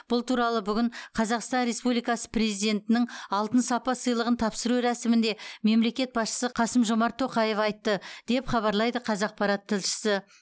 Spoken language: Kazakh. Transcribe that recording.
бұл туралы бүгін қазақстан республикасы президентінің алтын сапа сыйлығын тапсыру рәсімінде мемлекет басшысы қасым жомарт тоқаев айтты деп хабарлайды қазақпарат тілшісі